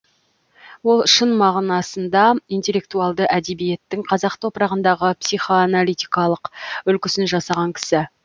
ол шын мағынасында интеллектуалды әдебиеттің қазақ топырағындағы психоаналитикалық үлгісін жасаған кісі